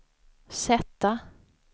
sätta